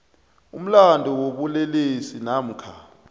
umlandu wobulelesi namkha